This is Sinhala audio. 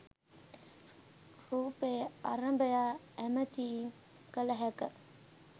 රුපය අරඹයා ඇමතීම් කල හැක